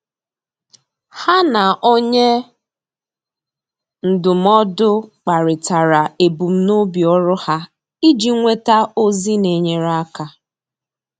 Há na onye ndụmọdụ kparịtara ebumnobi ọ́rụ́ ha iji nwéta ózị́ nà-ènyéré áká.